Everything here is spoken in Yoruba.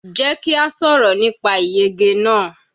Jẹ́ kí a sọ̀rọ̀ nípa ìyege náà.